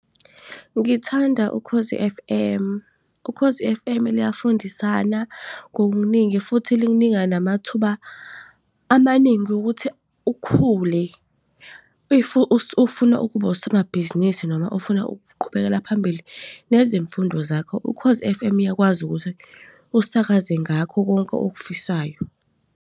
Ngithanda Ukhozi F_M. Ukhozi F_M luyafundisana ngokuningi, futhi likunika namathuba amaningi ukuthi ukhule. If ufuna ukuba usomabhizinisi, noma ofuna ukuqhubekela phambili nezimfundo zakho, Ukhozi F_M uyakwazi ukuthi usakaze ngakho konke okufisayo.